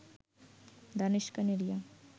Danish Kaneria